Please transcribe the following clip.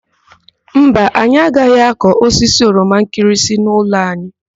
Mba, anyị agaghị akụ osisi oroma nkịrịsị n'ụlọ anyị.